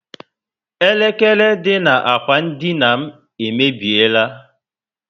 Elekere dị na ákwà dina m emebiela